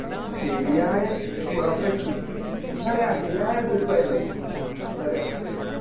ശെരിയാ perfect എന്താ പറയാ ശെരിയായ trip ആയിനും അത് എന്താ പറയാ